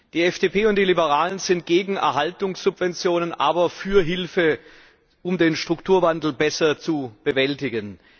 Die FDP und die Liberalen sind gegen Erhaltungssubventionen, aber für Hilfe, um den Strukturwandel besser zu bewältigen.